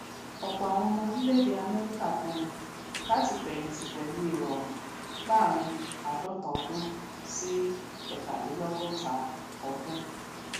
òpò àwọn ọmọ orílẹèdè amẹríkà pinu lati fẹyìntì pẹlú ìrọrùn láàrin àádọta ọdún sí ẹtàdínlọgọta ọdún